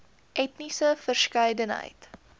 etniese verskeidenheid